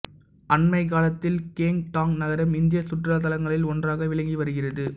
அண்மைக் காலத்தில் கேங்டாக் நகரம் இந்திய சுற்றுலாத் தலங்களில் ஒன்றாக விளங்கி வருகிறது